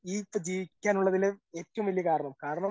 ഇനിയിപ്പോൾ ജീവിക്കാനുള്ളതിൽ ഏറ്റവും വലിയ കാരണം കാരണം